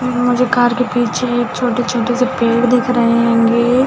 उम् मुझे कार के पीछे छोटे-छोटे से पेड़ दिख रहे है गे--